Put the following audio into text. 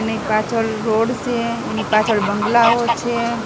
ને પાછળ રોડ સે એની પાછળ બંગલાઓ છે.